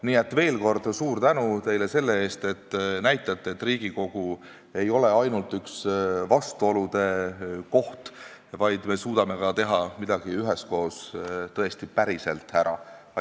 Nii et veel kord suur tänu teile selle eest, et näitate, et Riigikogu ei ole ainult üks vastuolude koht, vaid me suudame midagi üheskoos ka päriselt ära teha.